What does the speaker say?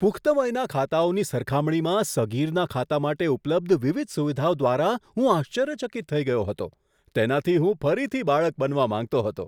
પુખ્ત વયના ખાતાઓની સરખામણીમાં સગીરના ખાતા માટે ઉપલબ્ધ વિવિધ સુવિધાઓ દ્વારા હું આશ્ચર્યચકિત થઈ ગયો હતો. તેનાથી હું ફરીથી બાળક બનવા માંગતો હતો.